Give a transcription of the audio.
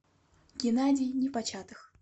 геннадий непочатых